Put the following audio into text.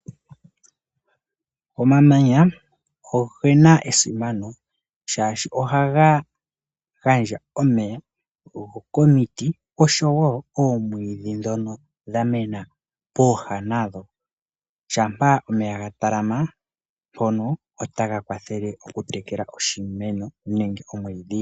Omamanya ogena esimano, shashi ohaga gandja omeya komiti noomwidhi ndhoka dhamena pooha nadho, shampa omeya gatalama mpono ohaga kwathele okutekela iimeno nomwiidhi.